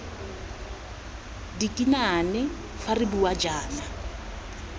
dikinane fa re bua jaana